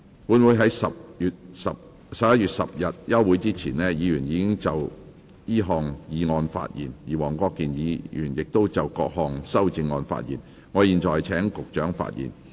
本會在11月10日休會前，議員已就此項議案發言，而黃國健議員亦已就各項修正案發言，我現在請局長發言。